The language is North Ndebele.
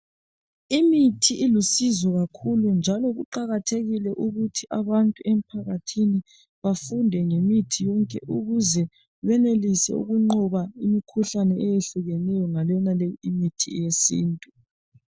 Imithi ilusizo kakhulu njalo kuqakathekile ukuthi abantu emphakathini bafunde ngemithi yonke ukuze beyenelise ukunqoba imkhuhlane eyehlukeneyo ngayonaleyi imithi yesintu.